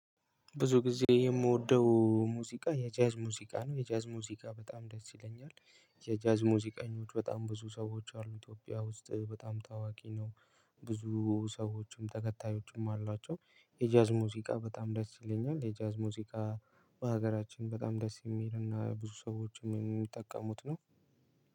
ብዙ ጊዜ የምወደው ሙዚቃ የጃዝ ሙዚቃ ነው የጃዝ ሙዚቃ በጣም ደስ ይለኛል። የጃዝ ሙዚቃኞች በጣም ብዙ ሰዎች አሉ ኢትዮጵያ ውስጥ እ በጣም ታዋቂ ነው። ብዙ ሰዎችም ተከታዮችም አሏቸው። የጃዝ ሙዚቃ በጣም ደስ ይለኛል። የጃዝ ሙዚቃ በሀገራችን በጣም ደስ የሚልና ብዙ ሰዎችም የሚጠቀሙት ነው።